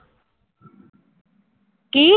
ਕੀ